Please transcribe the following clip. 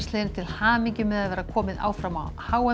til hamingju með að vera komið áfram á h m